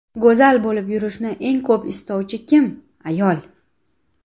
Go‘zal bo‘lib yurishni eng ko‘p istovchi kim – ayol!